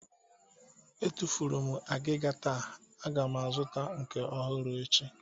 Etufuru m agịga taa, a ga m azụta nke ọhụrụ echi